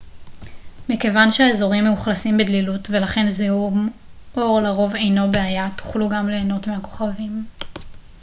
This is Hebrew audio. מכיוון שהאזורים מאוכלסים בדלילות ולכן זיהום אור לרוב אינו בעיה תוכלו גם ליהנות מהכוכבים